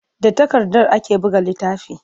Da takarda ake buga littafi.